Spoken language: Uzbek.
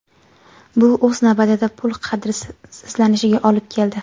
Bu o‘z navbatida pul qadrsizlanishiga olib keldi.